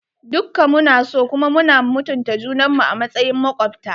Dukka mu na so kuma muna mutunta junan mu a matsayin makwabta.